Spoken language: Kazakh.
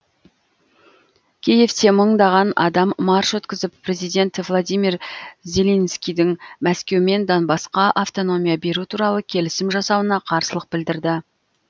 киевте мыңдаған адам марш өткізіп президент владимир зеленскийдің мәскеумен донбассқа автономия беру туралы келісім жасауына қарсылық білдірді